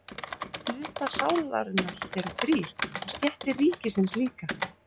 Hlutar sálarinnar eru þrír og stéttir ríkisins líka.